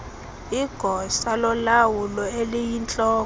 igosa lolawulo eliyintloko